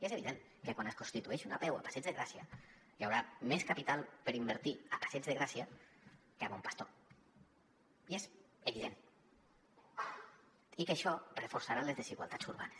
és evident que quan es constitueixi una apeu al passeig de gràcia hi haurà més capital per invertir al passeig de gràcia que a bon pastor és evident i que això reforçarà les desigualtats urbanes